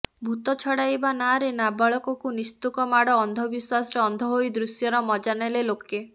ଭୂତ ଛଡ଼ାଇବା ନାଁରେ ନାବାଳକକୁ ନିସ୍ତୁକ ମାଡ଼ ଅନ୍ଧବିଶ୍ୱାସରେ ଅନ୍ଧ ହୋଇ ଦୃଶ୍ୟର ମଜାନେଲେ ଲୋକେ